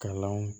Kalanw